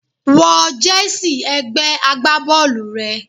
Wọ jersey ẹgbẹ́ agbábọ́ọ̀lù rẹ.